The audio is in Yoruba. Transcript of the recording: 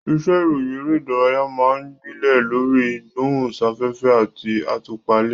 Iṣẹ́ ìròyìn eré ìdárayá máa ń gbilẹ̀ lórí ìgbóhùnsáfẹ́fẹ́ àti àtúpalẹ̀.